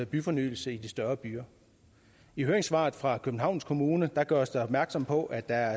byfornyelse i de større byer i høringssvaret fra københavns kommune gøres der opmærksom på at der